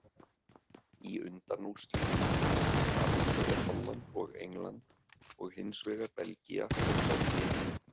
Í undanúrslitum mætast annars vegar Holland og England og hinsvegar Belgía og Serbía.